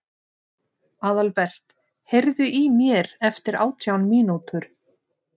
Aðalbert, heyrðu í mér eftir átján mínútur.